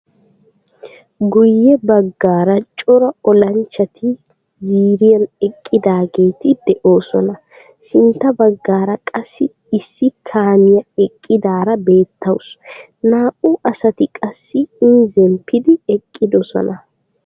Guyye baggaara cora olanchchati ziiriiyaan eqqidaageti de'oosona. sintta baggaara qassi issi kaamiyaa eqqidaara beettawus. Naa"u asati qassi iin zemppidi eqqidoosona.